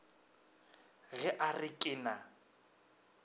ge a re ke na